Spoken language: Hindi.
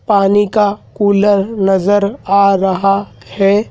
पानी का कूलर नज़र आ रहा है।